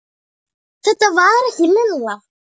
Þetta var ekki Lilla.